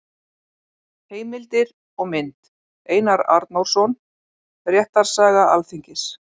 Heimildir og mynd: Einar Arnórsson: Réttarsaga Alþingis.